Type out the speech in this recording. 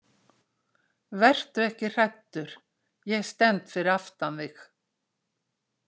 Vertu ekki hræddur, ég stend fyrir aftan þig.